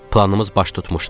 Planımız baş tutmuşdu.